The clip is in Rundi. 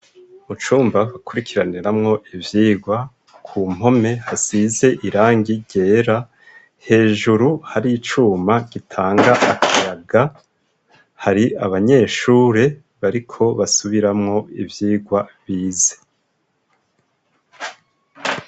Mucumba hakurikiraniramwo ivyigwa ku mpome hasize irangi ryera hejuru hari icuma gitanga akayaga hari abanyeshure bariko basubiramwo ivyigwa bize.